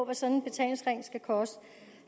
af sådan en betalingsring skal koste